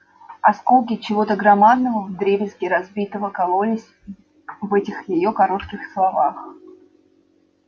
осколки чего-то громадного вдребезги разбитого кололись в этих её коротких словах